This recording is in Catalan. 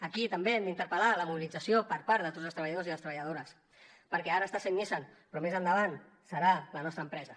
aquí també hem d’interpel·lar la mobilització per part de tots els treballadors i les treballadores perquè ara està sent nissan però més endavant serà la nostra empresa